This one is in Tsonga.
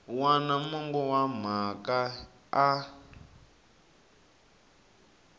wana mongo wa mhaka a